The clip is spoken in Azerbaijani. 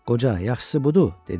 Qoca, yaxşısı budur, dedi: